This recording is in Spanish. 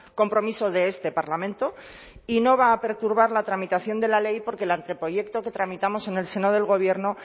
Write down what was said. compromiso de este parlamento y no va a perturbar la tramitación de la ley porque el anteproyecto que tramitamos en el seno del gobierno